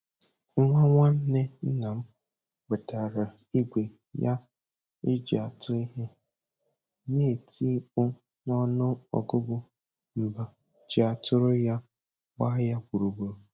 Nwa nwanne nna m wetara igwe ya e ji atụ ihe, na-eti mkpu n'ọnụ ọgụgụ mba ji a tụrụ ya gba ya gburugburu